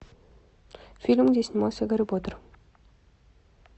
фильм где снимался гарри поттер